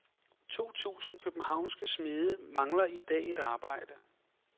To tusind københavnske smede mangler i dag et arbejde.